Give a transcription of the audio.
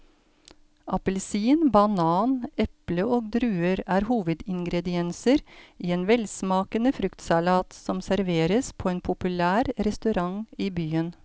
Appelsin, banan, eple og druer er hovedingredienser i en velsmakende fruktsalat som serveres på en populær restaurant i byen.